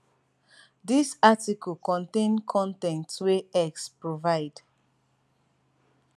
dis article contain con ten t wey x provide